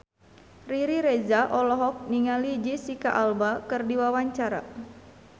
Riri Reza olohok ningali Jesicca Alba keur diwawancara